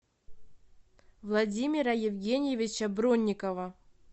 владимира евгеньевича бронникова